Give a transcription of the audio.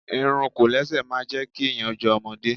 Irun Kòlẹ́sẹ̀ máa jẹ́ kí èèyàn jọ ọmọdé